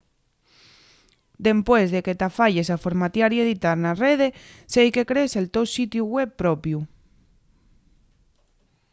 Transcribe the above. dempués de que t’afayes a formatiar y editar na rede seique crees el to sitiu web propiu